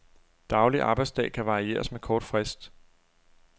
Daglig arbejdsdag kan varieres med kort frist.